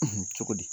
cogo di